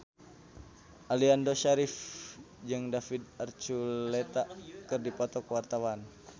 Aliando Syarif jeung David Archuletta keur dipoto ku wartawan